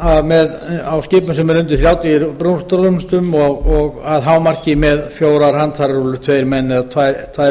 á skipum sem eru undir þrjátíu brúttórúmlestum og að hámarki með fjórar handfærarúllur tveir menn eða tvær rúllur á einn